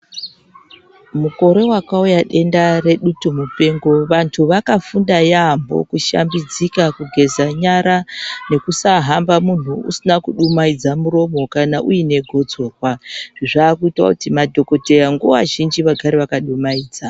Mukore wakauya denda redutumupengo vantu vakafunda yampho kushambidzika, kugeza nyara, nekusaahamba munhu usina kudumhaidza miromo kana uine gotsorwa. Zvaakuita kuti madhokoteya nguva zhinji vagare vakadumaidza.